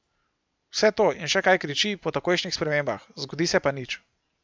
Vse to in še kaj kriči po takojšnjih spremembah, zgodi se pa nič.